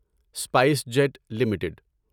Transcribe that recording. spice jet limited